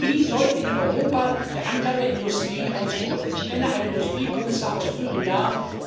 Wie soll in Europa der Anteil der Industrie ausgebaut werden? Ich kenne einen Industriekommissar aus früheren Jahren.